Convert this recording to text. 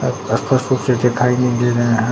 आस पास कुछ ये दिखाई नहीं दे रहे है।